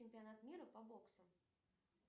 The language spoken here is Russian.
чемпионат мира по боксу